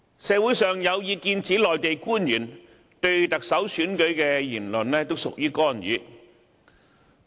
社會上有意見指，內地官員就特首選舉發表言論都屬於干預。